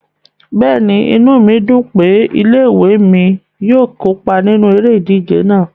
Bẹ́ẹ̀ni, inu mi dun pe ile-iwe mi yóò kopa ninu ere-ije náa